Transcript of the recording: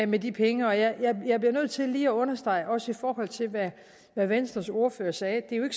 med de penge og jeg bliver nødt til lige at understrege også i forhold til hvad venstres ordfører sagde at det jo